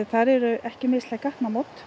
þar eru ekki mislæg